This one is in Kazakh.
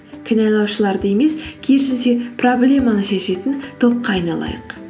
кінәлаушыларды емес керісінше проблеманы шешетін топқа айналайық